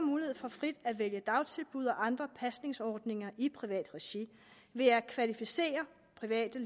mulighed for frit at vælge dagtilbud og andre pasningsordninger i privat regi ved at kvalificerede private